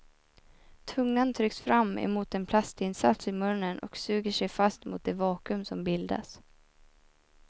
Tungan trycks fram emot en plastinsats i munnen och suger sig fast mot det vakuum som bildas.